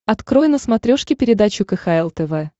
открой на смотрешке передачу кхл тв